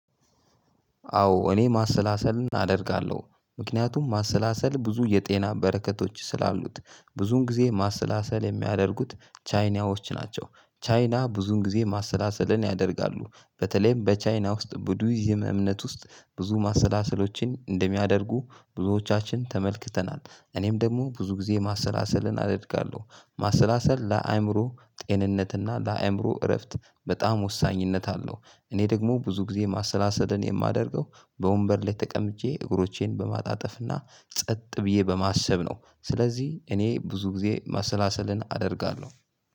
አዎ እኔ ማሰላሰል አደርጋለሁ ምክንያቱም ማሰላሰል ብዙ የጤና በረከቶች ስላሉት ብዙን ጊዜ ማሰላሰል የሚያደርጉት ቻይናዎች ናቸው። ቻይና ብዙን ጊዜ ማሰላሰልን ያደርጋሉ በተለይም በቻይና ውስጥ ቡዲዝም እምነት ውስጥ ብዙ ማሰላሰሎችን እንደሚያደርጉ ብዙዎቻችን ተመልክተናል። እኔም ደግሞ ብዙ ጊዜ ማሰላሰልን አደርጋለሁ። ማሰላሰል ለአእምሮ ጤንነት እና ለአእምሮ እረፍት በጣም ወሳኝነት አለው። እኔ ደግሞ ብዙ ጊዜ ማሰላሰልን የማደርገው በወንበር ላይ ተቀምጬ እግሮቼን በማጣጠፍና ጸጥ ብዬ በማሰብ ነው። ስለዚህ እኔ ብዙ ጊዜ ማሰላሰልን አደርጋለው።